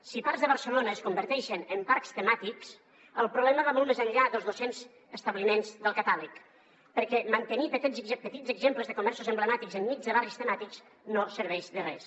si parts de barcelona es converteixen en parcs temàtics el problema va molt més enllà dels dos cents establiments del catàleg perquè mantenir petits exemples de comerços emblemàtics enmig de barris temàtics no serveix de res